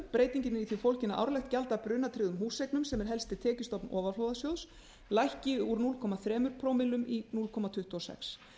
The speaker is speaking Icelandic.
breytingin er í því fólgin að árlegt gjald af brunatryggðum húseignum sem er helsti tekjustofn ofanflóðasjóðs lækki úr núll komma þrjú prómillum í núll komma tuttugu og sex